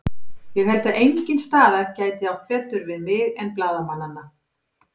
Ég held að engin staða gæti átt betur við mig en blaðamannanna.